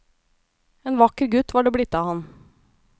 En vakker gutt var det blitt av ham.